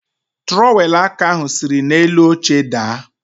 Trọwelụ aka ahụ siri n'elu oche daa.